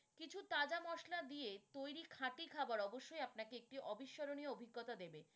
কিছু তাজা মশলা দিয়ে তৈরি খাটি খাবার অবশ্যই আপনাকে একটি অবিষ্মরণীয় অভিজ্ঞতা দেবে।